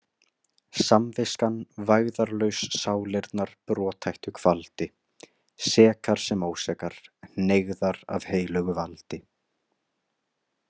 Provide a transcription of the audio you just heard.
Samviskan vægðarlaus sálirnar brothættu kvaldi, sekar sem ósekar, hneigðar af heilögu valdi.